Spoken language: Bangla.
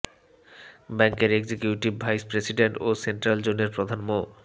ব্যাংকের এক্সিকিউটিভ ভাইস প্রেসিডেন্ট ও সেন্ট্রাল জোনের প্রধান মো